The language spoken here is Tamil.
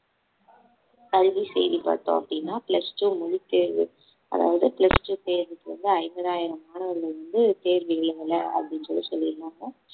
கல்வி செய்தி பார்த்தோம் அப்படின்னா plus two பொதுத்தேர்வு அதாவது plus two தேர்வுக்கு வந்து ஐம்பதாயிரம் மாணவர்கள் வந்து தேர்வு எழுதல அப்படின்னு சொல்லி சொல்லியிருந்தாங்க